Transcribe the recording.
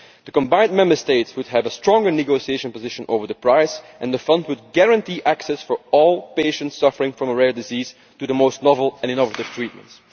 The combined Member States would have a stronger negotiating position over the price and the fund would guarantee access for all patients suffering from a rare disease to the most novel and innovative treatments.